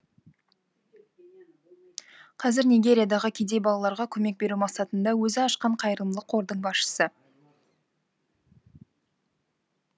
қазір нигериядағы кедей балаларға көмек беру мақсатында өзі ашқан қайырымдылық қордың басшысы